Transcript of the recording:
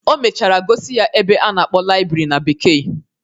O mechara gosi ya ebe a na-akpọ laịbrị na bekee.